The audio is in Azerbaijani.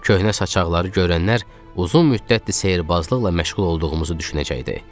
Köhnə saçaqları görənlər uzun müddətdir sehrbazlıqla məşğul olduğumuzu düşünəcəkdi.